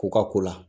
K'u ka ko la